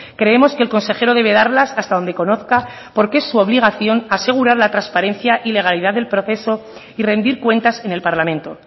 creemos que el consejero debe darlas hasta donde conozca porque es su obligación asegurar la transparencia y legalidad del proceso y rendir cuentas en el parlamento